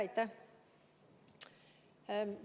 Aitäh!